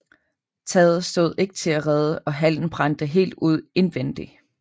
Taget stod ikke til at redde og hallen brændte helt ud indvendig